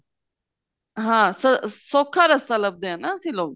ਹਾਂ ਸੋਖਾ ਰਸਤਾ ਲਭਦੇ ਆ ਨਾ ਅਸੀਂ ਲੋਕ